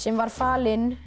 var falin